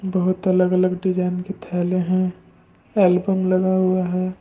बहुत अलग-अलग डिजाइन के थैले हैं एल्बम लगा हुआ है।